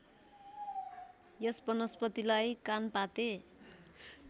यस वनस्पतिलाई कानपाते